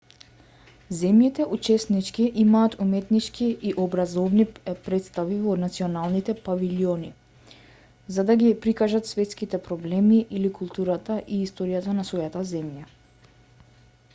земјите-учеснички имаат уметнички и образовни претстави во националните павилјони за да ги прикажат светските проблеми или културата и историјата на својата земја